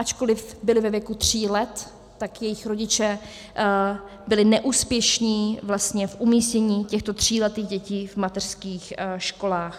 Ačkoliv byly ve věku tří let, tak jejich rodiče byli neúspěšní vlastně v umístění těchto tříletých dětí v mateřských školách.